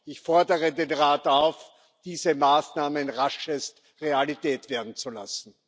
Ich fordere den Rat auf, diese Maßnahmen raschest Realität werden zu lassen.